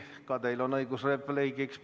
Ka teil on õigus repliigiks.